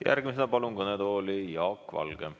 Järgmisena palun kõnetooli Jaak Valge.